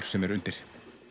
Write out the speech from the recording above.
sem er undir